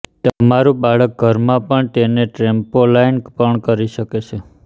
તમારું બાળક ઘરમાં પણ તેને ટ્રેમ્પોલાઇન પર કરી શકે છે